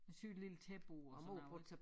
Og syede et lille tæppe på og sådan noget ik